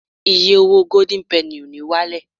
iye owó golden penny o ni walẹ